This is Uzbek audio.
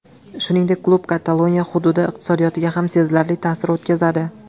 Shuningdek, klub Kataloniya hududi iqtisodiyotiga ham sezilarli ta’sir o‘tkazadi.